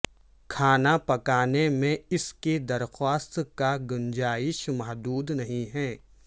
کھانا پکانے میں اس کی درخواست کا گنجائش محدود نہیں ہے